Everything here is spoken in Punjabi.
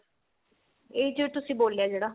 ਇਹ ਜੋ ਤੁਸੀਂ ਬੋਲਿਆ ਜਿਹੜਾ